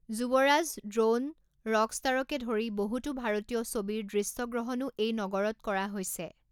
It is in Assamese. যুৱৰাজ, দ্ৰোণ, ৰকষ্টাৰকে ধৰি বহুতো ভাৰতীয় ছবিৰ দৃশ্যগ্ৰহণো এই নগৰত কৰা হৈছে।